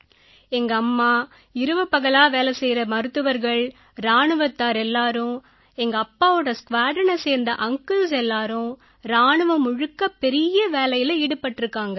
எங்கம்மா இரவு பகலா சேவை செய்யற மருத்துவர்கள் இராணுவத்தார் எல்லாரும் எங்கப்பாவோட ஸ்க்வாட்ரனைச் சேர்ந்த அன்கிள்ஸ் எல்லாரும் இராணுவம் முழுக்க பெரிய வேலையில ஈடுபட்டிருக்காங்க